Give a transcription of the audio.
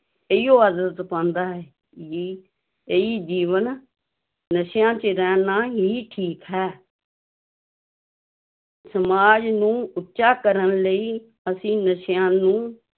ਇਹੀਓ ਆਦਤ ਪਾਉਂਦਾ ਹੈ ਵੀ ਇਹੀ ਜੀਵਨ ਨਸ਼ਿਆਂ ਚ ਰਹਿਣਾ ਹੀ ਠੀਕ ਹੈ ਸਮਾਜ ਨੂੰ ਉੱਚਾ ਕਰਨ ਲਈ ਅਸੀਂ ਨਸ਼ਿਆਂ ਨੂੰ